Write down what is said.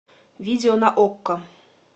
видео на окко